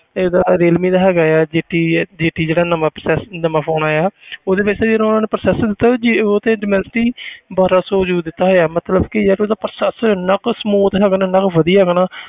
ਇਹ ਇਹਦਾ ਰੀਅਲਮੀ ਦਾ ਹੈਗਾ ਹੈ ਜੇ ਟੀ ਹੈ ਜੇ ਟੀ ਜਿਹੜਾ ਨਵਾਂ process~ ਨਵਾਂ phone ਆਇਆ ਉਹਦੇ ਵਿੱਚ ਨਾ ਜਿਹੜਾ ਉਹਨਾਂ ਨੇ processor ਦਿੱਤਾ ਜੇ ਉਹ ਤੇ ਡੋਮੈਸਟੀ ਬਾਰਾਂ ਸੌ ਦਿੱਤਾ ਹੋਇਆ ਮਤਲਬ ਕਿ ਯਾਰ ਉਹਦਾ processor ਇੰਨਾ ਕੁ smooth ਹੈਗਾ ਨਾ ਇੰਨਾ ਕੁ ਵਧੀਆ ਹੈਗਾ ਨਾ